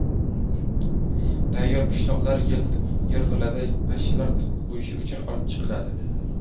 Tayyor pishloqlar yerto‘ladan pashshalar tuxum qo‘yishi uchun olib chiqiladi.